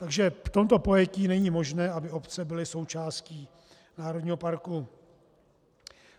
Takže v tomto pojetí není možné, aby obce byly součástí národního parku.